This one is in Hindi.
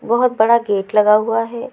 बहोत बड़ा गेट लगा हुआ है।